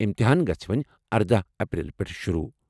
امتحان گژھِ وونی اردہِ اپریل پیٹھ شروع۔